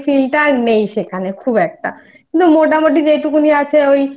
সাথে ঘুরতে যেত ওই Feel টা আর নেই সেখানে খুব একটা কিন্তু মোটামুটি